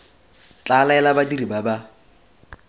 tla laela badiri ba ba